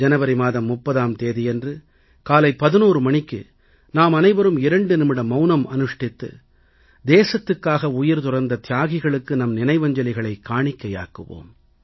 ஜனவரி மாதம் 30ஆம் தேதியன்று காலை 11 மணிக்கு நாம் அனைவரும் 2 நிமிட மவுனம் அனுஷ்டித்து தேசத்துக்காக உயிர் துறந்த தியாகிகளுக்கு நம் நினைவஞ்சலிகளைக் காணிக்கையாக்குவோம்